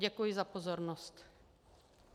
Děkuji za pozornost.